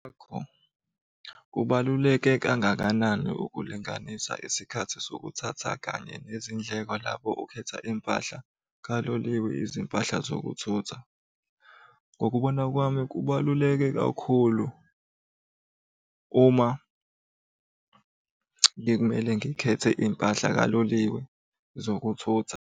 Kubaluleke kangakanani ukulinganisa isikhathi sokuthatha kanye nezindleko lapho ukhetha impahla kaloliwe izimpahla zokuthutha? Ngokubona kwami kubaluleke kakhulu uma bekumele ngikhethe impahla kaloliwe zokuthutha.